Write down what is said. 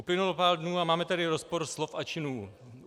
Uplynulo pár dnů a máme tady rozpor slov a činů.